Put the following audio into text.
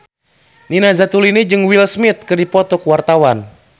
Nina Zatulini jeung Will Smith keur dipoto ku wartawan